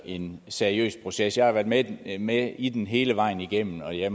en seriøs proces jeg har været med i med i den hele vejen igennem og jeg